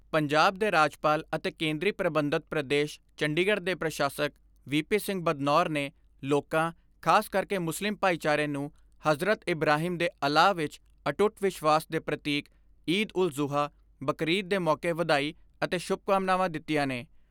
ਪੰਜਾਬ ਦੇ ਰਾਜਪਾਲ ਅਤੇ ਕੇਂਦਰੀ ਪ੍ਰਬੰਧਤ ਪ੍ਰਦੇਸ਼ ਚੰਡੀਗੜ੍ਹ ਦੇ ਪ੍ਰਸ਼ਾਸਕ ਵੀ ਪੀ ਸਿੰਘ ਬਦਨੌਰ ਨੇ ਲੋਕਾਂ ਖਾਸ ਕਰੇ ਮੁਸਲਿਮ ਭਾਈਚਾਰੇ ਨੂੰ ਹਜ਼ਰਤ ਇਬਰਾਹੀਮ ਦੇ ਅਲਾਹ ਵਿਚ ਅਟੁੱਟ ਵਿਸ਼ਵਾਸ ਦੇ ਪ੍ਰਤੀਕ ਈਦ ਉਲ ਜੁਹਾ ਯਾਨੀ ਬਕਰਈਦ ਦੇ ਮੌਕੇ ਵਧਾਈ ਅਤੇ ਸ਼ੁਭਕਾਮਨਾਵਾਂ ਦਿੱਤੀਆਂ ਨੇ।